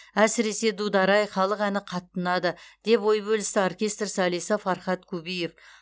әсіресе дудар ай халық әні қатты ұнады деп ой бөлісті оркестр солисі фархат кубиев